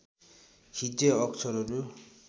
हिज्जे अक्षरहरू